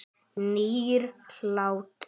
Nýr hlátur.